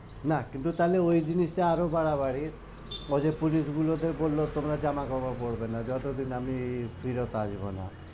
না কিন্তু তা হলে ওই জিনিস টা আরও বাড়াবাড়ির ও যে police গুলো কে বললো তোমরা জামা-কাপড় পড়বে না যত দিন আমি ফিরত আসবো না,